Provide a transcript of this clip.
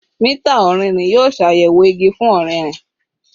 Mita ọrinrin yoo ṣayẹwo igi fun ọririn